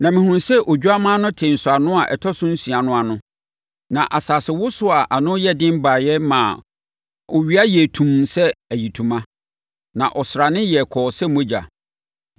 Na mehunuu sɛ Odwammaa no tee nsɔano a ɛtɔ so nsia no ano. Na asasewosoɔ a ano yɛ den baeɛ maa owia yɛɛ tumm sɛ ayitoma, na ɔsrane yɛɛ kɔɔ sɛ mogya.